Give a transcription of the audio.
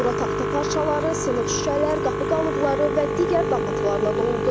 Bura taxta parçaları, sınıq şüşələr, qapı qalıqları və digər dağıntılarla doludur.